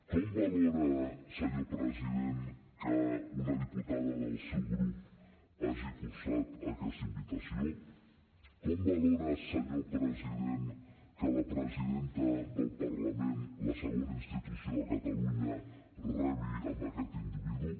com valora senyor president que una diputada del seu grup hagi cursat aquesta invitació com valora senyor president que la presidenta del parlament la segona institució de catalunya rebi aquest individu